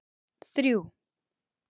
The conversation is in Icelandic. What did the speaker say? þrjú